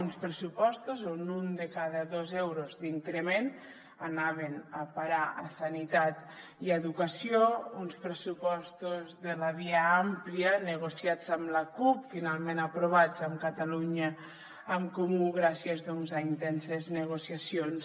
uns pressupostos on un de cada dos euros d’increment anaven a parar a sanitat i a educació uns pressupostos de la via àmplia negociats amb la cup finalment aprovats amb catalunya en comú gràcies doncs a intenses negociacions